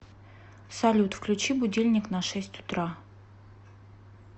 салют включи будильник на шесть утра